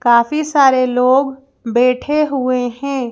काफी सारे लोग बैठे हुए हैं।